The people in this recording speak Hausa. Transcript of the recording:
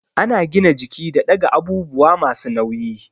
Ana gina jiki da ɗaga abubuwa masu nauyi